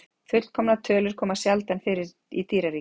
Fullkomnar tölur koma sjaldan fyrir í dýraríkinu.